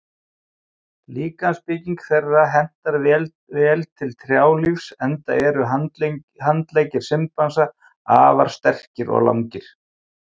Líkamsbygging þeirra hentar vel til trjálífs enda eru handleggir simpansa afar sterkir og langir.